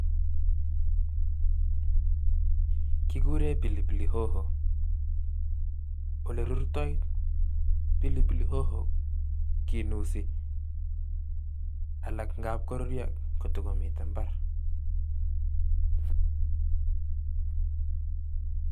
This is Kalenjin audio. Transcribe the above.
Kikuren pilipili hoho, olerurtoi pilipili hoho kinusi alaa ng'ab koruryo kotokomiten imbar.